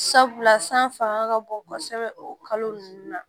Sabula san fanga ka bon kɔsɛbɛ o kalo nunnu na